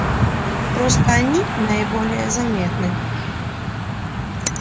просто они наиболее заметны